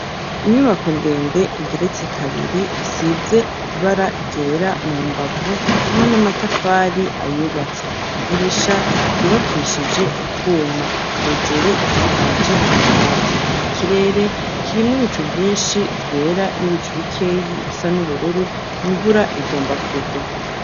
Inyubako ndende, igeretse kabiri, isize ibara ryera mu mbavu hamwe n'amatafari ayubatse; idirisha ryubakishije utwuma; hejuru isakaje amabati; ikirere, kirimwo ibicu vyinshi vyera, n'ibicu bikeyi bisa n'ubururu, imvura igomba kugwa.